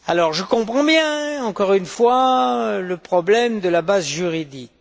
Je comprends bien, encore une fois, le problème de la base juridique.